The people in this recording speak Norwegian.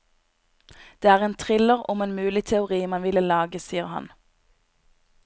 Det er en thriller om en mulig teori man ville lage, sier han.